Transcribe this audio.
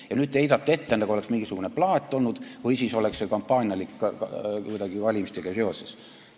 Ja nüüd te heidate ette, nagu oleks see mingisugune plaat olnud või nagu oleks see olnud kampaanialik, kuidagi valimistega seoses.